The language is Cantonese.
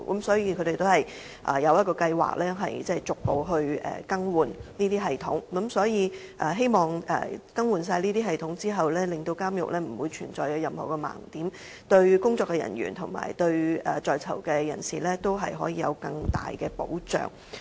所以，他們的計劃是，逐步更換這些系統，希望更新後監獄不會再存在任何盲點，對工作人員和在囚人士有更大保障。